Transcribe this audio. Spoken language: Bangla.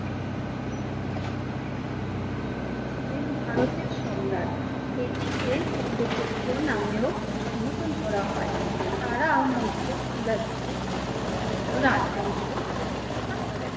ছিলেন ভারতের সম্রাট এটিকে চন্দ্রগুপ্ত নামে ও সম্বোধন করা হয়, তারা মৌর্য সাম্ৰাজ্য মৌর্য রাজ বংশ প্রতিষ্ঠাতা করেন।